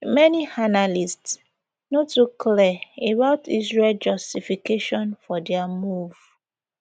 many analysts no too clear about israel justification for dia move